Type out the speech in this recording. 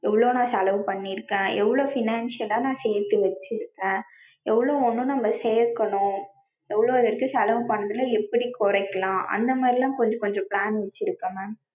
எவ்ளோ நா செலவு பண்ணிருக்கேன் எவ்ளோ financial நா சேத்து வச்சிருக்கேன். எவ்ளோ உண்ணும் நம்ம சேக்கணும், எவ்ளோ இருக்கு செலவு பண்றத எப்டி கொறைக்கலாம் அந்த மாறிலாம் கொஞ்சம் கொஞ்சம் plan வச்சிருக்கேன் mam.